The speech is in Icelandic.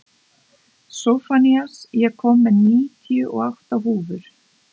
Sophanías, ég kom með níutíu og átta húfur!